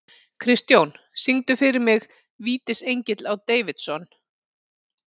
Kristjón, syngdu fyrir mig „Vítisengill á Davidson“.